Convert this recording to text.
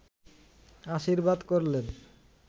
আশীর্বাদ করলেন